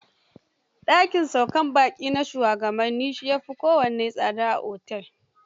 Da kin saukar baƙi na shugabanni, shi ya fi kowanne tsada a otel.